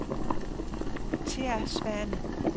Thea Svane